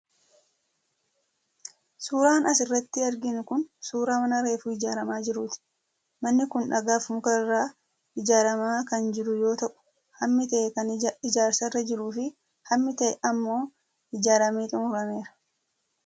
Suuraan asirratti arginu kun suuraa mana reefuu ijaaramaa jiruu ti. Manni kun dhagaa fi muka irraa ijaaramaa kan jiru yoo ta'u, hammi ta'e kan ijaarsarra jiruu fi hammi ta'e ammoo ijaaramee xumurameera.